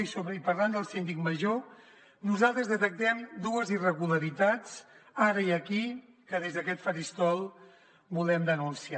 i parlant del síndic major nosaltres detectem dues irregularitats ara i aquí que des d’aquest faristol volem denunciar